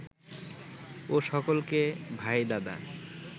ও সকলকে ভাই দাদা